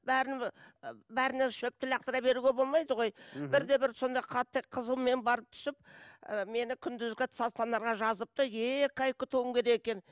бәрін і бәріне шөпті лақтыра беруге болмайды ғой мхм бірде бір сондай қатты қызумен барып түсіп і мені күндізгі стационарға жазыпты екі ай күтуім керек екен